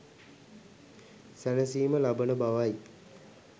සැනසීම ලබන බවයි.